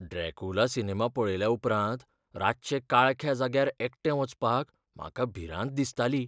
Dracula cinema पळयल्या उपरांत रातचें काळख्या जाग्यार एकटें वचपाक म्हाका भिरांत दिसताली.